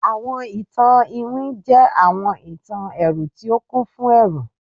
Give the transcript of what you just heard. Awọn itan iwin jẹ awọn itan ẹru ti o kun fun ẹru